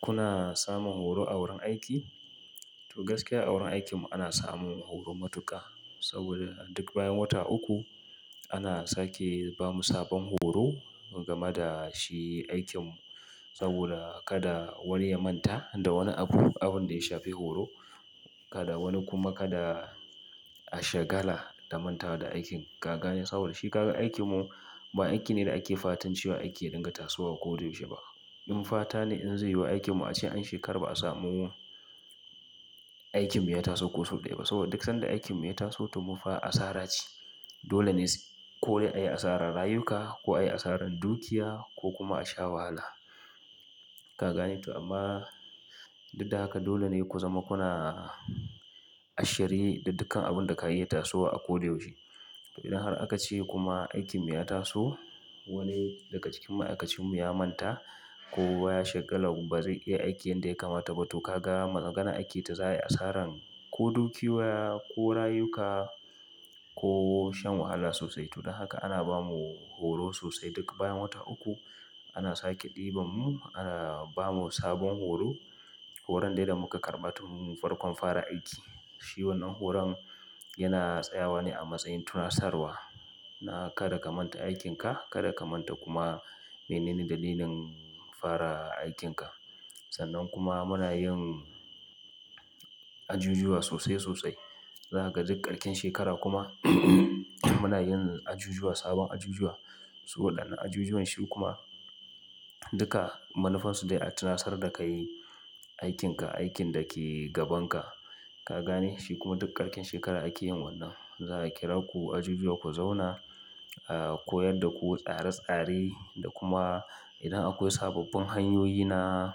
Kuna samun horo a wurin aiki? To gaskiya a wurin aikin mu ana samun horo matuka saboda duk bayan wata uku ana sake ba mu sabon horo game da shi aikin. Saboda kada wani ya manta da wani abu abin da ya shafi horo, kada wani kuma kada. A shagala da mantawa da aikin ka gane saboda shi kaga aikin mu. Ba aiki ne da ake fatan cewa aiki ya dinga tasowa koyaushe ba. In fata ne in zai yiwu aikin mu ace an shekara ba a samu aikin mu ya taso ko sau ɗaya ba saboda duk sanda aikin mu ya taso to mu fa asara ce. Dole ne ko dai a yi asarar rayuka ko a yi asarar dukiya ko kuma a sha wahala ka gane. To amma duk da haka dole ne ku zama kuna a shirye da dukkan abin da ka iya tasowa a ko da yaushe. To idan har aka ce kuma aikin mu ya taso wani daga cikin ma'aikacin mu ya manta ko ya shagala ba zai iya aikin yanda ya kamata ba to ka ga maganar ake ta za'i asaran ko dukiyoyi ko rayuka ko shan wahala sosai. To don haka ana bamu horo sosai duk bayan wata uku ana sake ɗiban mu ana bamu sabon horo. Horon dai da muka karɓa tun farkon fara aiki. Shi wannan horon yana tsayawa ne a matsayin tunasarwa. Na kada ka manta aikinka, kada ka manta kuma menene dalilin fara aikinka. Sannan kuma muna yin ajujuwa sosai sosai. Za ka ga duk ƙarshen shekara kuma muna yin ajujuwa sabon ajujuwa. Su waɗannan ajujuwan shi kuma duka manufarsu dai a tunasar da kai aikinka, aikin da ke gaban ka ka gane shi kuma duk ƙarshen shekara ake yin wannan. Za a kira ku ajujuwa ku zauna, a koyar da ku tsare-tsare da kuma idan akwai sababbin hanyoyi na.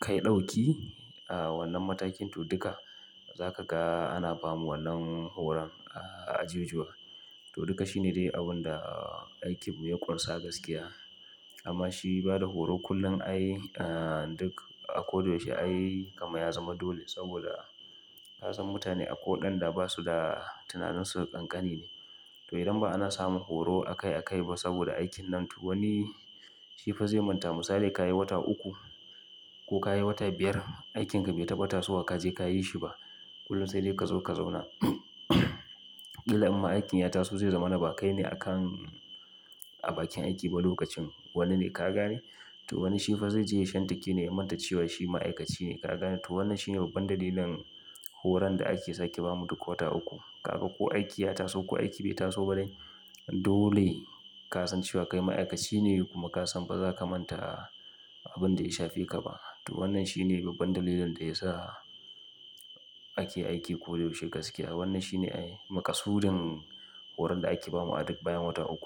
Kai ɗauki a wannan matakin to duka za ka ga ana bamu wannan horon a ajujuwa. To duka shine dai abun da aikin mu ya ƙunsa gaskiya. Amma shi bada horo kullum ai duk a ko da yaushe ai kaman ya zama dole saboda ka san mutane akwai waɗanda ba su da tunajinsu ƙanƙani ne. To idan ba ana samun horo akai akai ba saboda aikin nan to wani shi fa zai manta. Misali ka yi wata uku ko ka yi wata biyar aikin ka bai taɓa tasowa ka je ka yi shi ba. Kullum sai dai ka zo ka zauna. Ƙalau jn ma aikin ya taso zai zamana ba kai ne a kan. A bakin aiki ba lokacin. Wane ne ka gane? To wani shi fa zai je ya shantake ne ya manta cewa shi ma'aikaci ne ka gane. To wannan shi ne babban dalilin horon da ake sake ba mu duk wata uku. Ka ga ko aiki ya taso ko aiki bai taso ba dai dole. Ka san cewa kai ma'aikaci ne kuma ka san ba za ka manta abin da ya shafeka ba. To wannan shi ne babban dalilin da ya sa ake aiki koyaushe gaskiya. Wannan shi ne ai maƙasudin horon da ake ba mu a duk bayan wata uku.